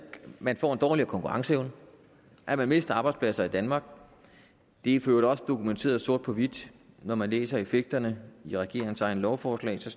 man får en dårligere konkurrenceevne at man mister arbejdspladser i danmark det er for øvrigt også dokumenteret sort på hvidt når man læser effekterne i regeringens egne lovforslag kan